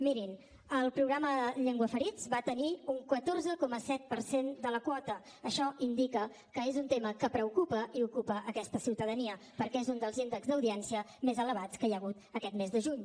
mirin el programa llenguaferits va tenir un catorze coma set per cent de la quota això indica que és un tema que preocupa i ocupa aquesta ciutadania perquè és un dels índexs d’audiència més elevats que hi ha hagut aquest mes de juny